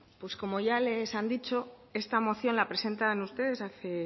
pues como ya les han dicho esta moción la presentan ustedes hace